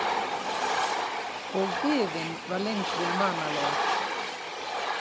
Og biðin var lengri en vanalega.